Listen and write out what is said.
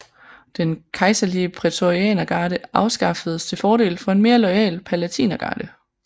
Den kejserlige prætorianergarde afskaffedes til fordel for en mere loyal palatinergarde